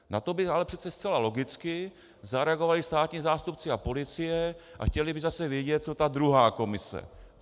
Na to by ale přece zcela logicky zareagovali státní zástupci a policie a chtěli by zase vědět, co ta druhá komise.